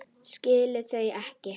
Skil þau ekki.